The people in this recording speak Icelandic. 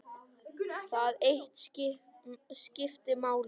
Það eitt skipti máli.